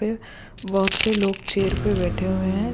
पे बहुत से लोग चेयर पे बैठे हुए हैं।